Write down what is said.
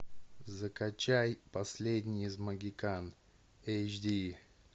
закачай последний из могикан эйч ди